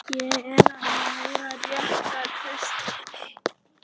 Ég er að læra rétta kristni.